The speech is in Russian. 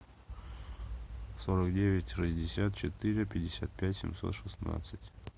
сорок девять шестьдесят четыре пятьдесят пять семьсот шестнадцать